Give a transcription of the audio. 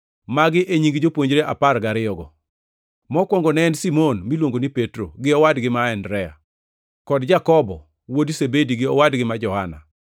Magi e nying jopuonjre apar gariyogo: Mokwongo ne en Simon (miluongo ni Petro), gi owadgi ma Andrea; kod Jakobo wuod Zebedi gi owadgi ma Johana;